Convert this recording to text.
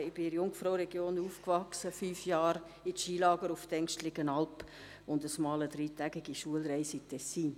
Ich bin in der Jungfrauregion aufgewachsen, war fünf Jahre in Skilagern auf der Englistenalp und machte einmal eine dreitägige Schulreise ins Tessin.